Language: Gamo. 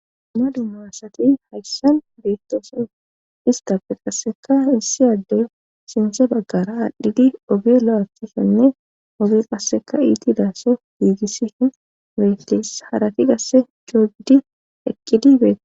dumma dumma asati hayssan beettoosona istape qasseka issi addey sinthe baggara adhidi oge la7atosonne qasseka iiti daasso giigissi hin beytes harati gasse joogidi eqqidi betes